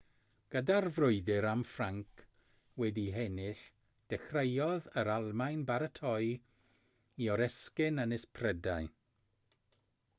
gyda'r frwydr am ffrainc wedi'i hennill dechreuodd yr almaen baratoi i oresgyn ynys prydain